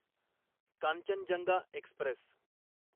Kanchenjunga Express